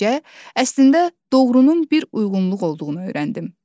Beləcə, əslində doğrunun bir uyğunluq olduğunu öyrəndim.